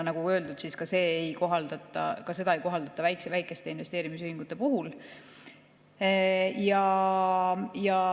Nagu öeldud, ka seda ei kohaldata väikeste investeerimisühingute puhul.